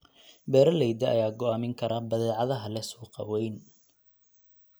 Beeralayda ayaa go'aamin kara badeecadaha leh suuq weyn.